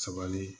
Sabali